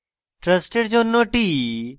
trust জন্য t